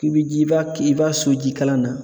I bi ji i b'a ki i b'a su jikala na.